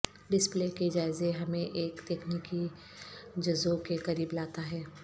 display کے جائزے ہمیں ایک تکنیکی جزو کے قریب لاتا ہے